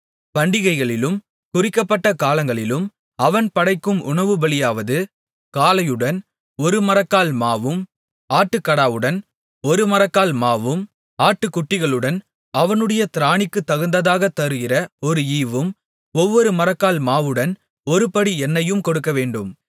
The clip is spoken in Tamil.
பண்டிகைகளிலும் குறிக்கப்பட்ட காலங்களிலும் அவன் படைக்கும் உணவுபலியாவது காளையுடன் ஒரு மரக்கால் மாவும் ஆட்டுக்கடாவுடன் ஒரு மரக்கால் மாவும் ஆட்டுக்குட்டிகளுடன் அவனுடைய திராணிக்குத்தகுந்ததாகத் தருகிற ஒரு ஈவும் ஒவ்வொரு மரக்கால் மாவுடன் ஒருபடி எண்ணெயும் கொடுக்கவேண்டும்